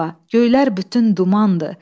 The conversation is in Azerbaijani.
Göylər bütün dumandır.